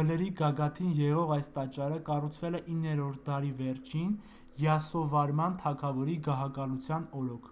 բլրի գագաթին եղող այս տաճարը կառուցվել է 9-րդ դարի վերջին յասովարման թագավորի գահակալության օրոք